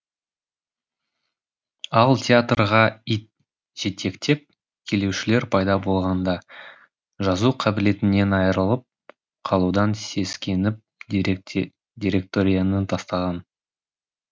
ал театрға ит жетектеп келушілер пайда болғанда жазу қабілетінен айырылып қалудан сескеніп директорияны тастаған